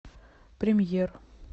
премьер